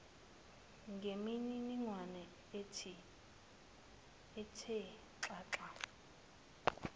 ngemininingwane ethe xaxa